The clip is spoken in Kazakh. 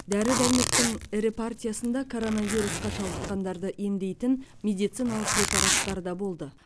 дәрі дәрмектің ірі партиясында коронавирусқа шалдыққандарды емдейтін медициналық препараттар да болды